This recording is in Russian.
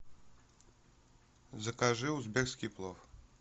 закажи узбекский плов